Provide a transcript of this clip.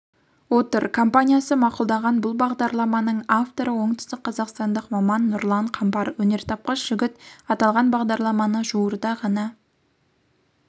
отыр компаниясы мақұлдаған бұл бағдарламаның авторы оңтүстік қазақстандық маман нұрлан қамбар өнертапқыш жігіт аталған бағдарламаны жуырда ғана